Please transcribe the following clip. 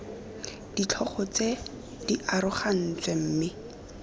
ditlhogo tse di arogantsweng mme